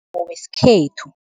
wesikhethu.